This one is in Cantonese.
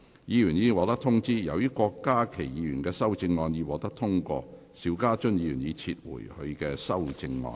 議員已獲通知，由於郭家麒議員的修正案獲得通過，邵家臻議員已撤回他的修正案。